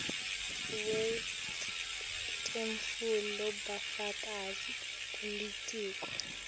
wetfule bufakazi kulitiko